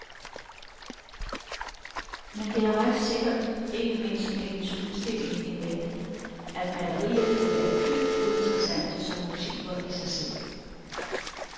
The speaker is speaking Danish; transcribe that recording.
Men det er ret sikkert, ikke mindst med hendes udstilling in mente, at malerierne vil være dybt uinteressante som motiver i sig selv.